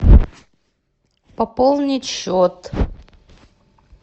пополнить счет